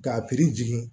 K'a jigin